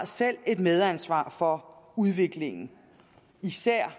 selv har et medansvar for udviklingen især